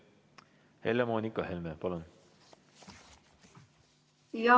Helle-Moonika Helme, palun!